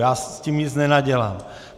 Já s tím nic nenadělám.